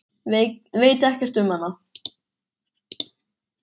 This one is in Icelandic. Veit ekkert um hana.